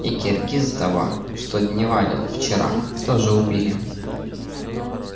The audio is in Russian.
и киргиза того что дневалил вчера тоже убили